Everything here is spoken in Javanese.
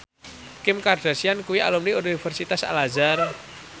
Kim Kardashian kuwi alumni Universitas Al Azhar